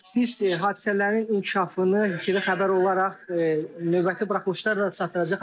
Biz hadisələrin inkişafını ITV xəbər olaraq növbəti buraxılışlarda da çatdıracağıq.